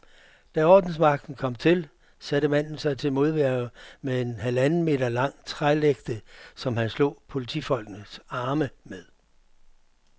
Da ordensmagten kom til, satte manden sig til modværge med en halvanden meter lang trælægte, som han slog politifolkenes arme med.